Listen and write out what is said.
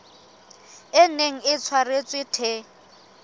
e neng e tshwaretswe the